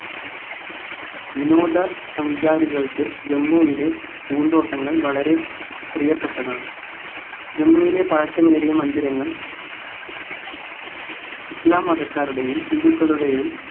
വിനോദ സഞ്ചാരികൾക്ക് ജമ്മുവിലെ പൂന്തോട്ടങ്ങൾ വളരെ പ്രിയപ്പെട്ടതാണ് ജമ്മുവിലെ പഴക്കമേറിയ മന്ദിരങ്ങൾ ഇസ്ലാം മതക്കാരുടെയും ഹിന്ദുക്കളുടെയും